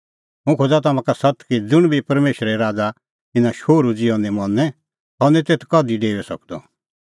हुंह खोज़ा तम्हां का सत्त कि ज़ुंण बी परमेशरे राज़ा इना शोहरू ज़िहअ ग्रैहण निं करे सह निं तेथ कधि डेऊई सकदअ